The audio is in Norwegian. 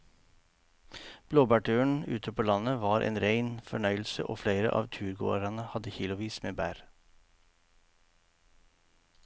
Blåbærturen ute på landet var en rein fornøyelse og flere av turgåerene hadde kilosvis med bær.